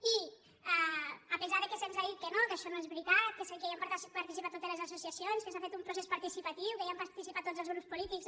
i a pesar que se’ns ha dit que no que això no és veritat que hi ha participat totes les associacions que s’ha fet un pro·cés participatiu que hi han participat tots els grups polítics